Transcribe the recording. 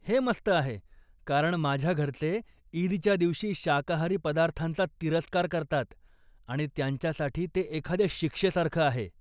हे मस्त आहे कारण माझ्या घरचे ईदच्या दिवशी शाकाहारी पदार्थांचा तिरस्कार करतात आणि त्यांच्यासाठी ते एखाद्या शिक्षेसारखं आहे.